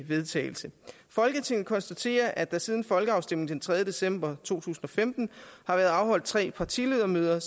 vedtagelse folketinget konstaterer at der siden folkeafstemningen den tredje december to tusind og femten har været afholdt tre partiledermøder og